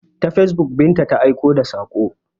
Ta facebook Binta ta aika da saƙo.